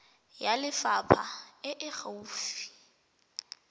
ya lefapha e e gaufi